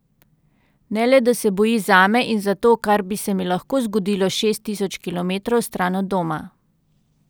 Ne le da se boji zame in za to, kar bi se mi lahko zgodilo šest tisoč kilometrov stran od doma.